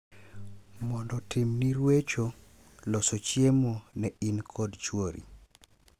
mondo otimni ruecho, loso chiemo ne in kod chwori...